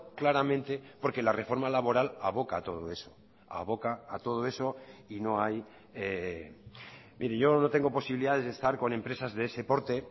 claramente porque la reforma laboral aboca a todo eso aboca a todo eso y no hay mire yo no tengo posibilidades de estar con empresas de ese porte